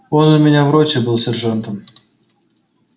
он у меня в роте был сержантом